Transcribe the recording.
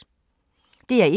DR1